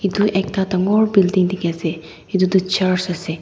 etu ekta tangor building tiki ase etu tu church ase.